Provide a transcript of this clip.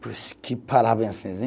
Puxa, que parabéns